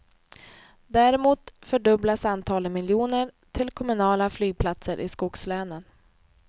Däremot fördubblas antalet miljoner till kommunala flygplatser i skogslänen.